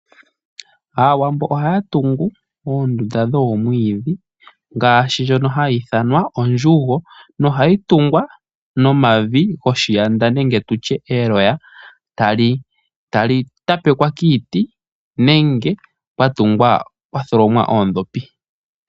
Aawambo ohaya tungu oondunda dhoomwiidhi ngaashi ndjono hayi ithanwa ondjugo nohayi tungwa nomavi goshiyanda nenge tutye eloya, tali tapekwa kiiti nenge kwa tholomwa oondhopi.